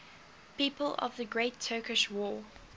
people of the great turkish war